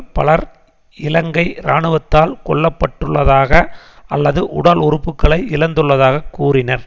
பலர் இலங்கை இராணுவத்தால் கொல்ல பட்டுள்ளதாக அல்லது உடல் உறுப்புக்களை இழந்துள்ளதாக கூறினர்